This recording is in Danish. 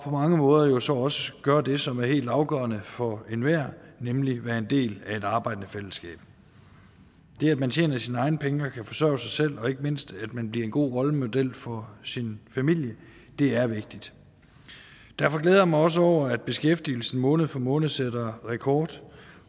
mange måder jo så også gøre det som er helt afgørende for enhver nemlig at være en del af et arbejdende fællesskab det at man tjener sine egne penge og kan forsørge sig selv og ikke mindst at man bliver en god rollemodel for sin familie er vigtigt derfor glæder jeg mig også over at beskæftigelsen måned for måned sætter rekord